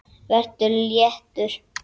Vertu léttur.